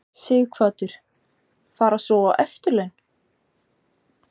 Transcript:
Sighvatur: Fara svo á eftirlaun?